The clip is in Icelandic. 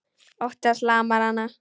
Ótti hans lamar hana.